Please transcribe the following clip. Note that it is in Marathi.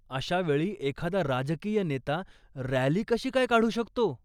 अशा वेळी एखादा राजकीय नेता रॅली कशी काय काढू शकतो?